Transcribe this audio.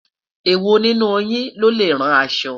ewọ nínú yín lọlẹ rán aṣọ?